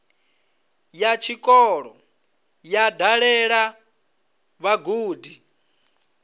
ya tshikolo yo dalela vhagudi